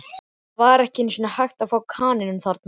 Það var ekki einu sinni hægt að fá kanínu þarna.